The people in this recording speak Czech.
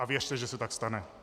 A věřte, že se tak stane.